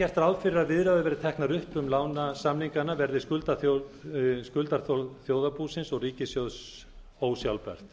gert ráð fyrir að viðræður verði teknar upp um lánasamningana verði skuldaþol þjóðarbúsins og ríkissjóðs ósjálfbært